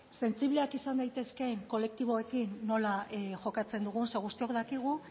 sensibleak izan daitezkeen kolektiboekin nola jokatzen dugun ze guztiok dakigu